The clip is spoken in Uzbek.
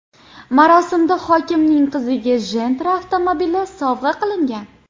Marosimda hokimning qiziga Gentra avtomobili sovg‘a qilingan.